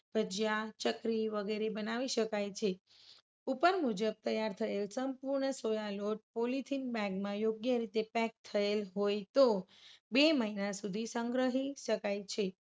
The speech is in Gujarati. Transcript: ભજીયા, ચકરી વગેરે બનાવી શકાય છે. ઉપર મુજબ તૈયાર થયેલ સંપૂર્ણ સોયા લોટ polythene bag માં યોગ્ય રીતે pack કરેલ હોય તો બે મહિના સુધી સંગ્રહી શકાય છે.